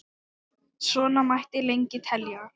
Svona mætti lengi telja.